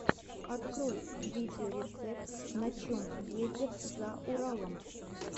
открой видеорецепт на чем ездят за уралом